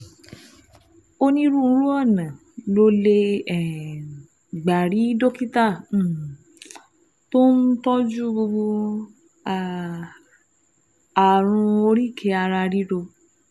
Onírúurú ọ̀nà lo lè um gbà rí dókítà um tó ń tọ́jú um ààrùn oríkèé-ara-ríro